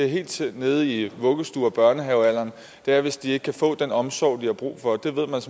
helt nede i vuggestue og børnehavealderen er hvis de ikke kan få den omsorg de har brug for det ved